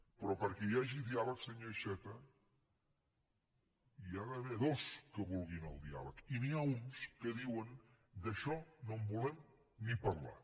però perquè hi hagi diàleg senyor iceta n’hi ha d’haver dos que vulguin el diàleg i n’hi ha uns que diuen d’això no en volem ni parlar